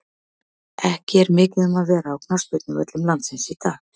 Ekki er mikið um að vera á knattspyrnuvöllum landsins í dag.